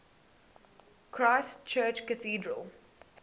christ church cathedral